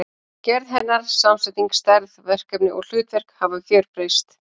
Gerð hennar, samsetning, stærð, verkefni og hlutverk hafa gjörbreyst.